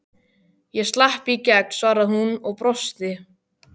Ég slapp í gegn, svaraði hún og brosti.